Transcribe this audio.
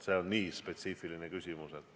See on nii spetsiifiline küsimus.